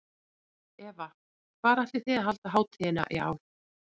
Eva, hvar ætlið þið að halda hátíðina í ár?